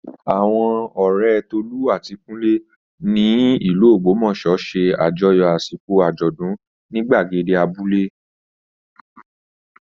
Àwọn ọ̀rẹ́ Tolú àti Kúnlé ní ìlú Ògbómọ̀ṣọ́ ṣe àjọyọ̀ àsìkò àjọ̀dún ní gbàgede abúlé